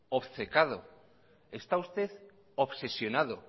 obcecado está usted obsesionado